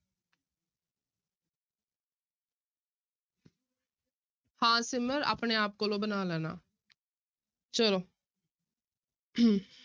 ਹਾਂ ਸਿਮਰ ਆਪਣੇ ਆਪ ਕੋਲੋਂ ਬਣਾ ਲੈਣਾ ਚਲੋ